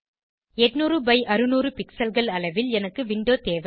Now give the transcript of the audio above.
800 by 600 pixelகள் அளவில் எனக்கு விண்டோ தேவை